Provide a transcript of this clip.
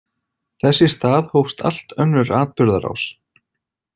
Þess í stað hófst allt önnur atburðarás.